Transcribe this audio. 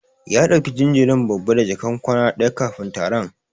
Ya dauki jinjirin babba da jakan kwana daya kafin taron.